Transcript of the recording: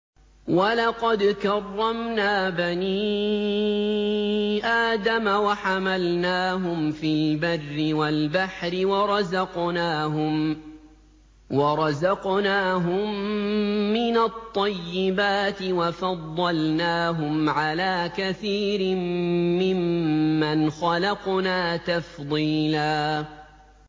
۞ وَلَقَدْ كَرَّمْنَا بَنِي آدَمَ وَحَمَلْنَاهُمْ فِي الْبَرِّ وَالْبَحْرِ وَرَزَقْنَاهُم مِّنَ الطَّيِّبَاتِ وَفَضَّلْنَاهُمْ عَلَىٰ كَثِيرٍ مِّمَّنْ خَلَقْنَا تَفْضِيلًا